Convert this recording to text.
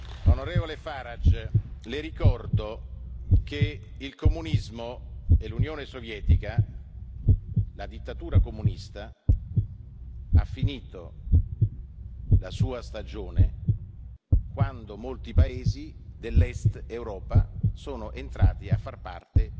Onorevole Farage, Le ricordo che il comunismo e l'Unione sovietica, la dittatura comunista ha finito la sua stagione quando molti paesi dell'Est Europa sono entrati a far parte